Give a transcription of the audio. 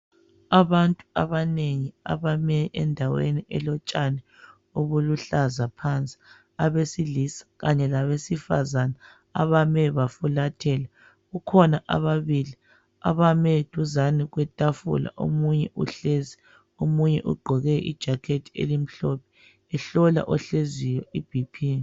abantu abanengi abame endaweni elotshani obuluhlaza phansi abesilisa kanye labesifazana abame bafulathela kukhona ababili abame duzane kwetafula omunye uhlezi omunye ugqoke i jacket elimhlophe ehlola ohleziyo i BP